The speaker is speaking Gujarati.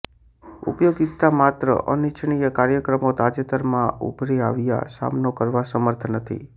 ઉપયોગિતા માત્ર અનિચ્છનીય કાર્યક્રમો તાજેતરમાં ઉભરી આવ્યા સામનો કરવા સમર્થ નથી